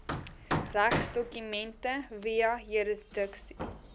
regsdokumente via juridiese